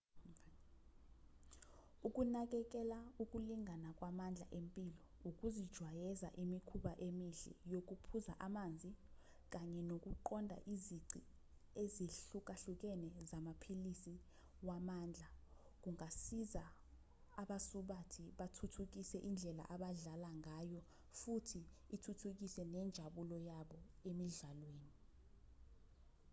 ukunakekela ukulingana kwamandla empilo ukuzijwayeza imikhuba emihle yokuphuza amanzi kanye nokuqonda izici ezihlukahlukene zamaphilisi wamandla kungasiza abasubathi bathuthukise indlela abadlala ngayo futhi ithuthukise nenjabulo yabo emidlalweni